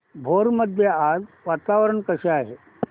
भोर मध्ये आज वातावरण कसे आहे